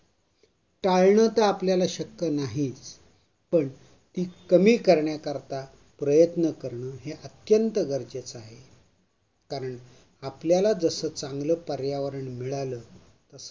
तळणं त आपल्याला शक्क नाही पण ते कमी करण्याकरता प्रयत्न करणं हे अत्यंत गरजेच आहे कारण, आपल्याला जस चांगल पर्यावरण मिळालं तस